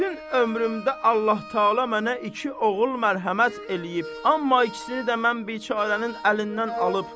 Bütün ömrümdə Allah Təala mənə iki oğul mərhəmət eləyib, amma ikisini də mən biçarənin əlindən alıb.